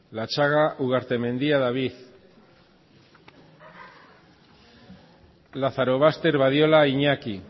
lazarobaster badiola iñaki